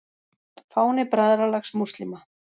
Fáni Bræðralags múslíma.